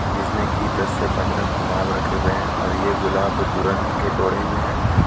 जिसमें की दस से पंद्रा गुलाब रखे हुए हैं और ये गुलाब तुरंत के तोड़े हुए हैं.